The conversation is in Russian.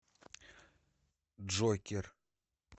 джокер